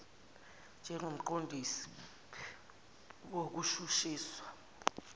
njengakumqon disi wokushushiswa